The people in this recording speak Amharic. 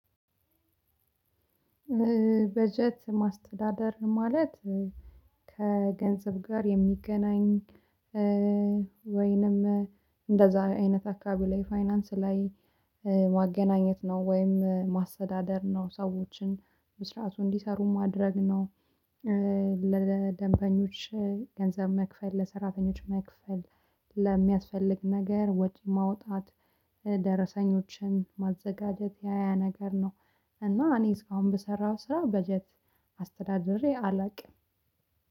በጀት ማስተዳደር ማለት ከገንዘብ ጋር የሚገናኝ ወይንም እንደዛ አይነት አካባቢ ላይ ፋይናንስ ላይ ማገናኘት ነው ወይም ማሰተዳደር ነው ሰዎችን በስርዓቱ እንዲሰሩ ማድረግ ነው። ለደንበኞች ገንዘብ መክፈል ለሰራተኞች መክፈል ለሚያስፈልግ ነገር ወጪ ማውጣት ደረሰኞችን ማዘጋጀት ያያ ነገር ነው። እና እኔ እስካሁን በሰራሁ ስራ በጀት አስተዳድሬ አላውቅም።